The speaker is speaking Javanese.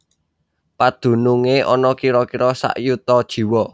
Padunungé ana kira kira sak yuta jiwa